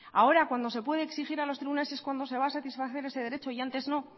ahora cuando se pude exigir a los tribunales es cuando se va a satisfacer ese derecho y antes no